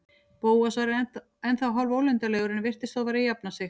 Bóas var ennþá hálfólundarlegur en virtist þó vera að jafna sig.